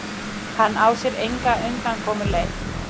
Hann á sér enga undankomuleið.